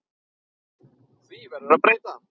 Því verður að breyta.